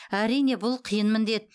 әрине бұл қиын міндет